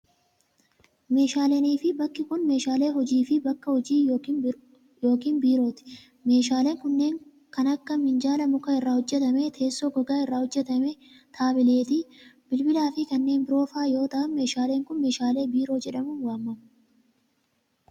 Meeshaaleenii fi bakki kun, meeshaalee hojii fi bakka hojii yokin biirooti. Meeshaaleen kunneen, kan akka minjaala muka irraa hojjatame, teessoo gogaa irraa hojjatame, taabileetii, bilbila fi kanneen biroo faa yoo ta'an, meeshaaleen kun meeshaalee biiroo jedhamuun waamamu.